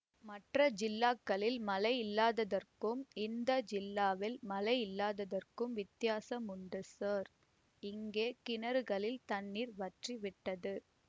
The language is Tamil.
மற்ற ஜில்லாக்களில் மழை இல்லாததற்கும் இந்த ஜில்லாவில் மழை இல்லாததற்கும் வித்தியாசம் உண்டு ஸார் இங்கே கிணறுகளில் தண்ணீர் வற்றிவிட்டது